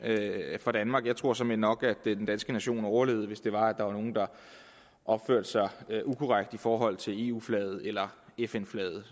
for danmark jeg tror såmænd nok at den danske nation overlevede hvis det var at der var nogle der opførte sig ukorrekt i forhold til eu flaget eller fn flaget